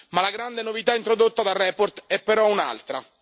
Ma la grande novità introdotta dalla relazione è però un'altra.